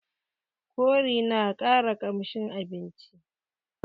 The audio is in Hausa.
Kori na ƙara ƙamshin abinci